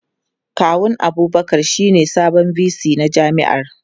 Kawun Abubakar shine sabon VC na jami'ar.